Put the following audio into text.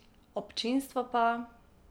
Občinstvo pa ...